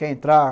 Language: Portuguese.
Quer entrar?